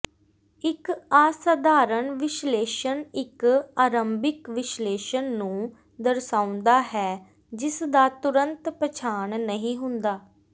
ਇੱਕ ਅਸਾਧਾਰਣ ਵਿਸ਼ਲੇਸ਼ਣ ਇੱਕ ਆਰੰਭਿਕ ਵਿਸ਼ਲੇਸ਼ਨ ਨੂੰ ਦਰਸਾਉਂਦਾ ਹੈ ਜਿਸਦਾ ਤੁਰੰਤ ਪਛਾਣ ਨਹੀਂ ਹੁੰਦਾ